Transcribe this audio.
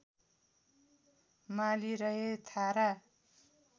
माली रहे थारा